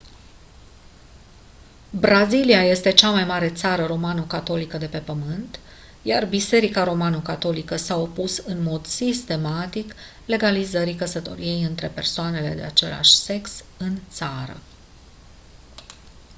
brazilia este cea mai mare țară romano-catolică de pe pământ iar biserica romano-catolică s-a opus în mod sistematic legalizării căsătoriei între persoanele de același sex în țară